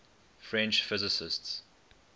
french physicists